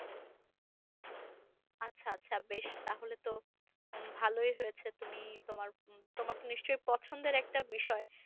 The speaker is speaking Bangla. আচ্ছা আচ্ছা বেশ তাহলে তো উম ভালোই হয়েছে তুমি তোমার তোমার তো নিশ্চয়ই পছন্দের একটা বিষয়।